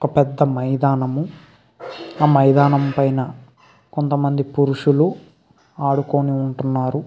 ఒక పెద్ధ మైదానము ఆ మైదానం పైన కొంతమంది పురుషులు ఆడుకుని ఉంటున్నారు.